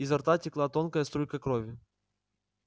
изо рта текла тонкая струйка крови